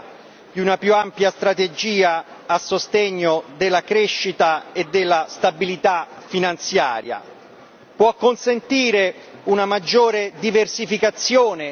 L'Unione dei mercati dei capitali è una componente decisiva di una più ampia strategia a sostegno della crescita e della stabilità finanziaria